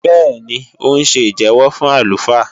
Bẹ́ẹ̀ni, ó ń ṣe ìjẹ́wọ́ fún àlùfáà